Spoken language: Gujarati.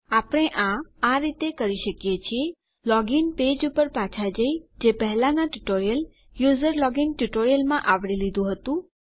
આપણે આ આ રીતે કરી શકીએ લોગીન પેજ પર પાછા જઈ જે પહેલાનાં ટ્યુટોરીયલ યુઝર લોગીન ટ્યુટોરીયલમાં આવરી લીધું હતું